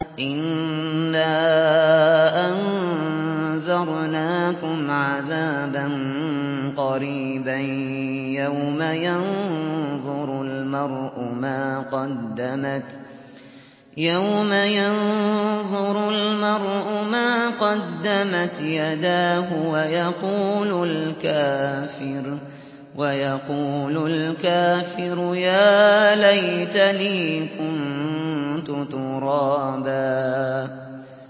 إِنَّا أَنذَرْنَاكُمْ عَذَابًا قَرِيبًا يَوْمَ يَنظُرُ الْمَرْءُ مَا قَدَّمَتْ يَدَاهُ وَيَقُولُ الْكَافِرُ يَا لَيْتَنِي كُنتُ تُرَابًا